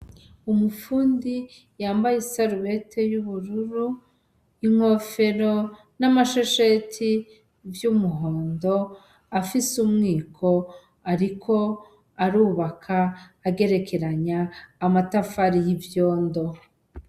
Umupfundi yambaye isarubete y'ubururu inkofero n'amashesheti vy'umuhondo afise umwiko, ariko arubaka agerekeranya amatafari y'ivyondo.